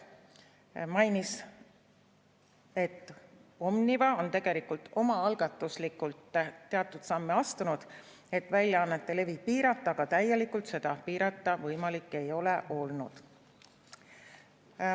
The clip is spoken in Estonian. Ta mainis, et Omniva on tegelikult omaalgatuslikult teatud samme astunud, et väljaannete levi piirata, aga täielikult seda piirata võimalik ei ole olnud.